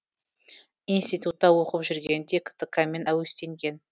институтта оқып жүргенінде ктк мен әуестенген